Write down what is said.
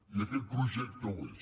i aquest projecte ho és